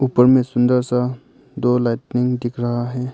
उपर में सुंदर सा दो लाइटनिंग दिख रहा है।